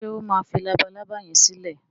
ṣe o má fí Labalábá yén silẹ?